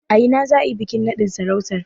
A ina za a yi bikin naɗin sarautar?